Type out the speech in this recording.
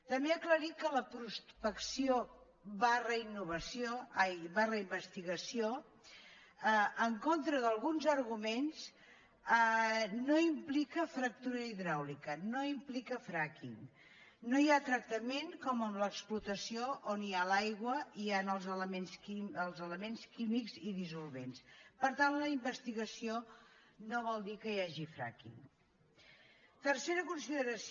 també aclarir que la prospecció investigació en contra d’alguns arguments no implica fractura hidràulica no implica fracking no hi ha tractament com en l’explotació on hi ha l’aigua i hi han els elements químics i dissolvents per tant la investigació no vol dir que hi hagi frackingtercera consideració